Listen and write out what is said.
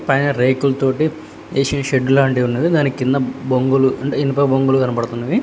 పైన రేకుల తోటి వేసిన షెడ్ లాంటిది ఉన్నది దాని కింద బొంగులు అంటే ఇనుప బొంగులు కనబడుతున్నవి.